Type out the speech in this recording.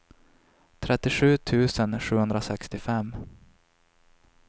trettiosju tusen sjuhundrasextiofem